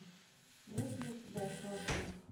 есть ли у тебя сосны